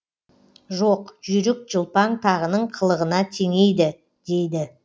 жоқ жүйрік жылпаң тағының қылығына теңейді дейді